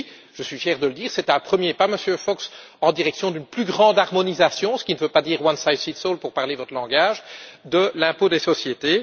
Je suis fier de dire que c'est un premier pas, Monsieur Fox, en direction d'une plus grande harmonisation, ce qui ne veut pas dire one size fits all pour parler votre langage de l'impôt des sociétés.